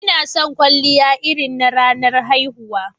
Ina son kwalliya irin na ranar haihuwa.